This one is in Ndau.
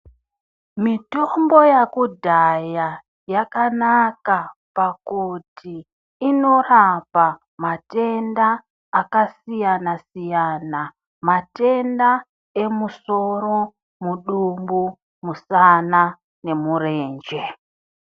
Mitombo yakudhaya yakanaka pakuti inorapa matenda akasiyana siyana, matenda emusoro, mudumbu, musana nemurenje.